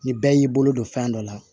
Ni bɛɛ y'i bolo don fɛn dɔ la